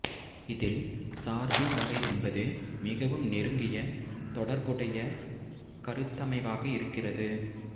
இதில் சார்பின் வகை என்பது மிகவும் நெருங்கிய தொடர்புடைய கருத்தமைவாக இருக்கிறது